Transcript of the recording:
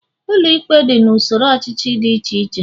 Ụlọikpe dị n'usoro ọchịchị dị iche iche